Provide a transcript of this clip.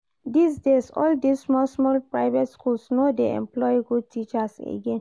Dis days, all this small small private schools no dey employ good teachers again